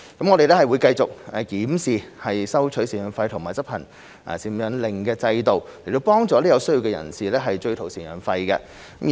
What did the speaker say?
我們會繼續檢視收取贍養費和執行贍養令的制度，以幫助有需要的人士追討贍養費。